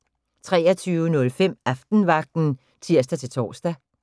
23:05: Aftenvagten (tir-tor)